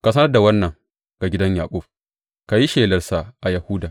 Ka sanar da wannan ga gidan Yaƙub ka yi shelarsa a Yahuda.